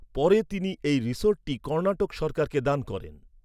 পরে তিনি এই রিসর্টটি কর্ণাটক সরকারকে দান করেন।